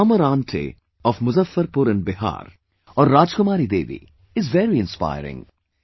'Farmer Aunty' of Muzaffarpur in Bihar, or Rajkumari Devi is very inspiring